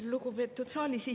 Lugupeetud saalis istujad!